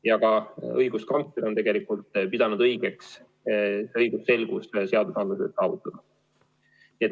Ja ka õiguskantsler on tegelikult pidanud vajalikuks seadusandluses õigusselgus saavutada.